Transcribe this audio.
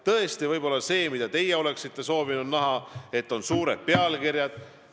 Tõesti, võib-olla teie oleksite soovinud näha, et meedias on suured pealkirjad.